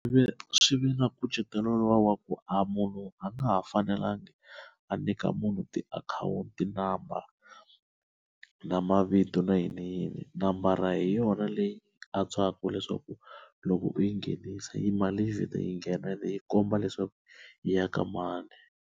Ve swi ve na nkucetelo luwa wa ku a munhu a nga ha fanelangi a nyika munhu tiakhawunti number na mavito na yini yini nambara hi yona leyi antswaka leswaku loko u yi nghenisa yi mali yi vheta yi nghena leyi komba leswaku yi ya ka mani.